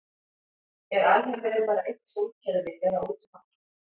er alheimurinn bara eitt sólkerfi eða útum allt